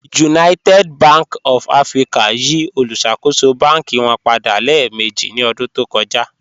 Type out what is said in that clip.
United Bank of Africa yí òlúṣakò̩ṣò̩ bánkì wọn padà lẹẹ̀mẹ̀jì ní ọdún tó kọ̀jà.